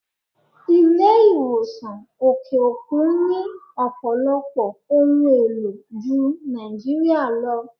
Ilé ìwòsàn òkè òkun ni Ọ̀pọ̀lọpọ̀ ohun èlò Jun Nigeria lọ.